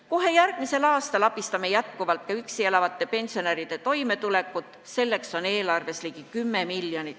Kohe järgmisel aastal toetame jätkuvalt ka üksi elavate pensionäride toimetulekut, selleks on eelarves ligi 10 miljonit.